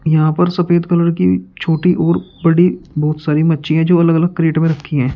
यहां पर सफेद कलर की छोटी और बड़ी बहुत सारी मच्छी है जो अलग अलग क्रेट में रखी है।